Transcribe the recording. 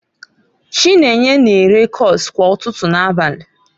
Chinenye na-ere kose kwa ụtụtụ na abalị.